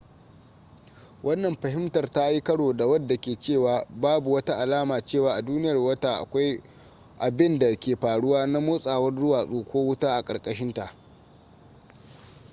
wannan fahimtar ta yi karo da wadda ke cewa babu wata alama cewa a duniyar wata akwai abinda ke faruwa na motsawar duwatsu ko wuta a karkashinta